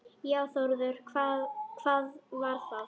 Já Þórður, hvað var það?